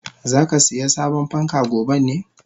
Zakasiya sabon fanka goben ne?